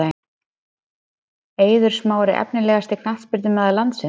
Eiður Smári Efnilegasti knattspyrnumaður landsins?????????